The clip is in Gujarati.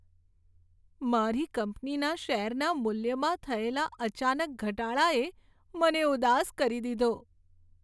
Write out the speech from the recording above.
મારી કંપનીના શેરના મૂલ્યમાં થયેલા અચાનક ઘટાડાએ મને ઉદાસ કરી દીધો.